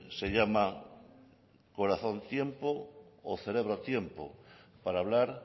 se llama corazón tiempo o cerebro tiempo para hablar